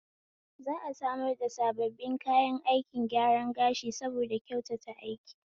Za'a samar da sabbin kayan aikin gyaran gashi saboda kyautata aiki